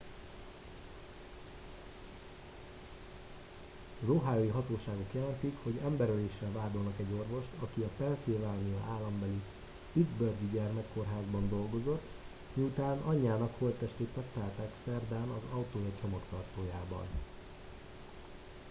az ohiói hatóságok jelentik hogy emberöléssel vádolnak egy orvost aki a pennsylvania állambeli pittsburghi gyermekkórházban dolgozott miután anyjának holttestét megtalálták szerdán az autója csomagtartójában